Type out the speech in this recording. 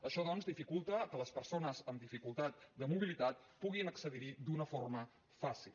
això doncs dificulta que les persones amb dificultat de mobilitat puguin accedir hi d’una forma fàcil